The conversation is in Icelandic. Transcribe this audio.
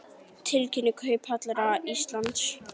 Tilkynning Kauphallar Íslands